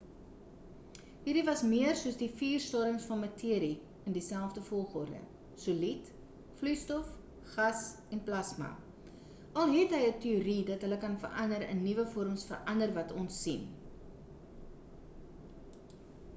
hierdie was meer soos die vier stadiums van materie in dieselfde volgorde: solied vloeistof gas en plasma al het hy ‘n teorie dat hulle kan verander in nuwe vorms verander wat ons sien